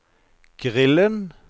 grillen